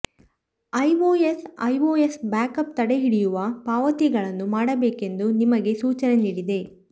iOS iOS backup ತಡೆಹಿಡಿಯುವ ಪಾವತಿಗಳನ್ನು ಮಾಡಬೇಕೆಂದು ನಿಮಗೆ ಸೂಚನೆ ನೀಡಿದೆ